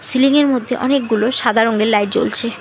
Ceiling -এর মধ্যে অনেকগুলো সাদা রঙের লাইট জ্বলছে।